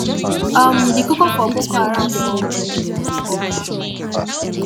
um di koko for boko haram for [group oga]